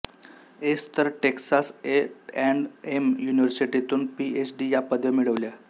S तर Texas A and M युनिव्हर्सिटीतून P H D या पदव्या मिळविल्या